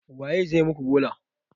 Waye zai muku gola?